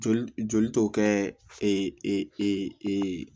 Joli joli tɔ kɛ e e e e e e e